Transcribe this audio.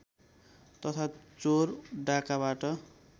तथा चोर डाँकाबाट